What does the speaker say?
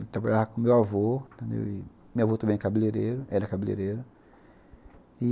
Ele trabalhava com meu avô, meu avô também é cabeleireiro, era cabeleireiro e